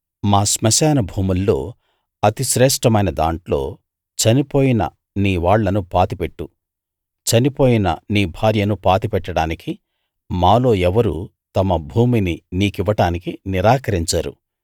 మా శ్మశాన భూముల్లో అతి శ్రేష్ఠమైన దాంట్లో చనిపోయిన నీ వాళ్ళను పాతి పెట్టు చనిపోయిన నీ భార్యను పాతి పెట్టడానికి మాలో ఎవరూ తమ భూమిని నీకివ్వడానికి నిరాకరించరు